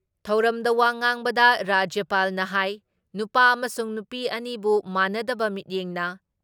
ꯊꯧꯔꯝꯗ ꯋꯥ ꯉꯥꯡꯕꯗ ꯔꯥꯖ꯭ꯌꯄꯥꯜꯅ ꯍꯥꯏ ꯅꯨꯄꯥ ꯑꯃꯁꯨꯡ ꯅꯨꯄꯤ ꯑꯅꯤꯕꯨ ꯃꯥꯟꯅꯗꯕ ꯃꯤꯠꯌꯦꯡꯅ